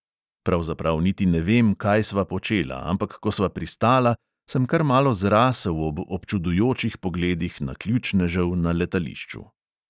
Pravzaprav niti ne vem, kaj sva počela, ampak ko sva pristala, sem kar malo zrasel ob občudujočih pogledih naključnežev na letališču.